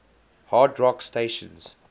hard rock stations